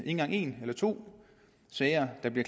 engang en eller to sager der bliver